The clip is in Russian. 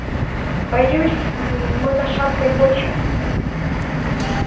боюсь мы на шаткой почве